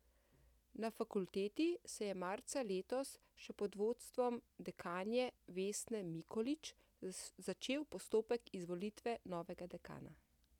Na fakulteti se je marca letos še pod vodstvom dekanje Vesne Mikolič začel postopek izvolitve novega dekana.